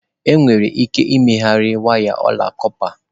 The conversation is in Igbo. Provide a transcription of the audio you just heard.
Enwere ike ịmegharị waya ọla kọpa.